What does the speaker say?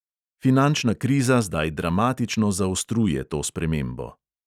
Finančna kriza zdaj dramatično zaostruje to spremembo.